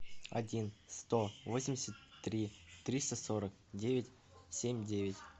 один сто восемьдесят три триста сорок девять семь девять